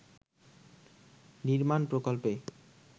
নির্মাণ প্রকল্পে